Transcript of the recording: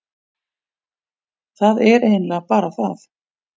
Það er eiginlega bara það.